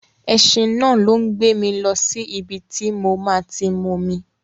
Ẹṣin náà ló ń gbé mi lọ sí ibi tí mo máa ti momi.